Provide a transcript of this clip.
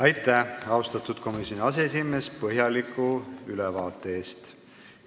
Aitäh, austatud komisjoni aseesimees põhjaliku ülevaate eest!